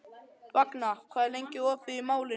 Vagna, hvað er opið lengi í Málinu?